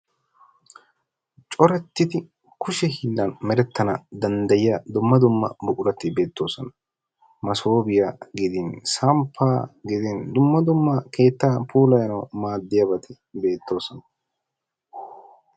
Corattdi kushee hiilan merettana danddyiyaa dumma dumma buqurati beettoosona. Massobiyaa gidin, samppa gidin dumma dumma keettan puulayyanaw maaddiyaabati beettoosona.